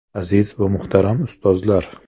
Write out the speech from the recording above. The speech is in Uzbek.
Aziz va muhtaram ustozlar!